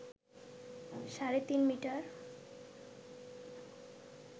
সাড়ে তিন মিটার